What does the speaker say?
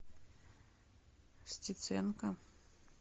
стеценко